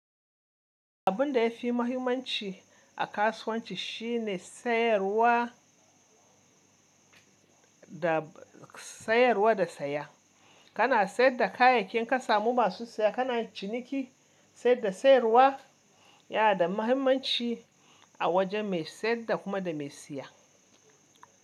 Abun da ya fi mahimmanci a kasuwanci shi ne sayarwa da sayarwa da saya. Kana sayar da kayayyakin ka in ka samu masu saya. Kana ciniki, saya da sayarwa yana da mahimmanci a wajen mai sayarwa da kuma mai saya.